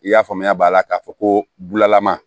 I y'a faamuya b'a la k'a fɔ ko bulalama